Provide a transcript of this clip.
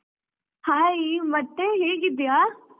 Hai ಮತ್ತೆ ಹೇಗಿದ್ದಿಯಾ?